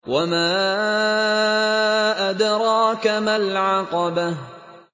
وَمَا أَدْرَاكَ مَا الْعَقَبَةُ